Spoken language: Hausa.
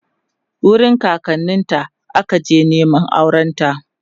wurin kakanninta ta akaje Neman aurenta